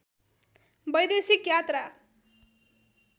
वैदेशिक यात्रा